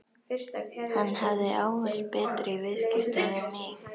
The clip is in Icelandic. Hann hafði ávallt betur í viðskiptum við mig.